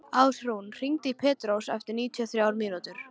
Ásrún, hringdu í Pétrós eftir níutíu og þrjár mínútur.